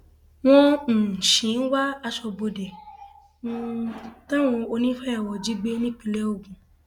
wọn um sì ń wá aṣọbodè um táwọn onífàyàwọ jí gbé nípìnlẹ ogun